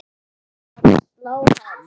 að slá hann.